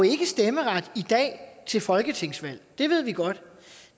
ikke stemmeret i dag til folketingsvalg det ved vi godt